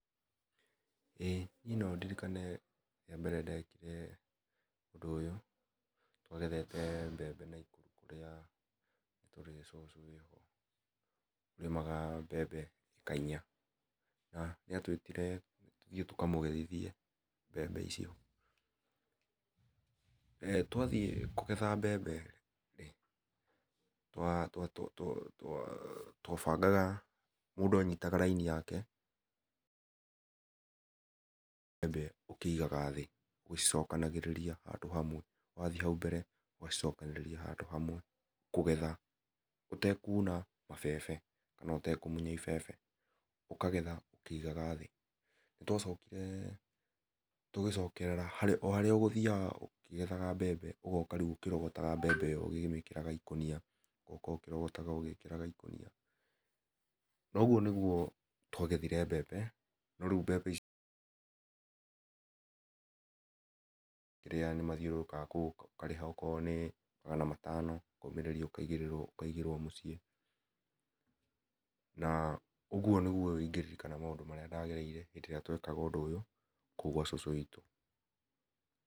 ĩ niĩ no ndĩrikane ria mbele ndekire ũndũ ũyũ twagethe mbembe Nakuru harĩa nĩ tũrĩ cũcũ wĩho ũrĩmaga mbembe ĩka inya nĩ atwĩtire tũthiĩ tũkamũgethithie mbembe icio, eh twathiĩ kũgetha mbembe twa twabangaga mũndũ anyitaga laini yakembembe ũkĩigaga thĩ ũgĩcokanagĩrĩria handũ hamwe ũtekũna mabebe kana ũ tekũmũnya ibebe ũkagetha ũkĩigaga thĩ nĩ twacokore tũgĩcokerera o harĩa ũgũthiaga ũkĩgethaga mbembe ũgoka rĩũ ũkĩ rogotaga mbembe ĩyo ũkĩmĩkĩraga ikũnia ogoka ũkĩrogotaga ũgĩkĩraga ikũnia na ũgũo nĩ gũo twagethire mbembe no rĩũ mbembe icio ĩrĩa nĩ mathiũrũrũkaga ũkariha okorwo nĩ magana matano ũkaũmĩrĩrio ũkaĩgĩrwo mũciĩ na ũgũo nĩ gũo ingĩririkanaga maũndũ marĩa ndagereĩre hĩndĩiria ndekaga ũndũ ũyũ kũu gwa cũcũ witũ.